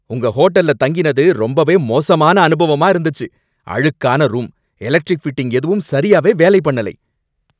உங்க ஹோட்டல்ல தங்கினது ரொம்பவே மோசமான அனுபவமா இருந்துச்சு, அழுக்கான ரூம், எலக்ட்ரிக் ஃபிட்டிங் எதுவும் சரியாவே வேலை பண்ணலை.